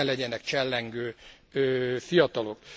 Ne legyenek csellengő fiatalok.